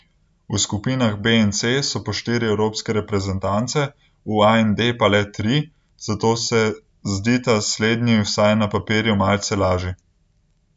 V skupinah B in C so po štiri evropske reprezentance, v A in D pa le tri, zato se zdita slednji vsaj na papirju malce lažji.